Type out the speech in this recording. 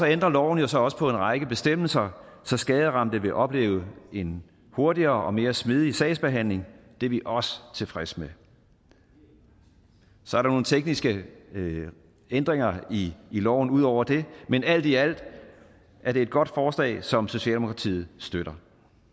ændrer loven jo så også på en række bestemmelser så skaderamte vil opleve en hurtigere og mere smidig sagsbehandling det er vi også tilfredse med så er der nogle tekniske ændringer i loven ud over det men alt i alt er det et godt forslag som socialdemokratiet støtter